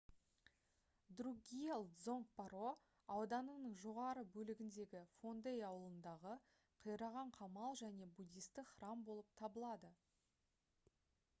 друкгиал дзонг паро ауданының жоғарғы бөлігіндегі фондей ауылындағы қираған қамал және буддистік храм болып табылады